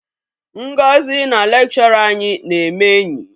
Ngozi na lekshọra anyị na-eme enyi.